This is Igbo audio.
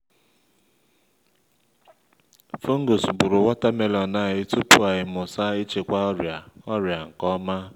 fungus gburu watermelon anyi tupu anyị mụta ịchịkwa ọrịa ọrịa nke ọma